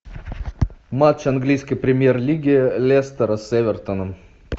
матч английской премьер лиги лестера с эвертоном